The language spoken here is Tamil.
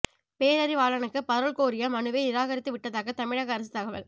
பேரறிவாளனுக்கு பரோல் கோரிய மனுவை நிராகரித்து விட்டதாக தமிழக அரசு தகவல்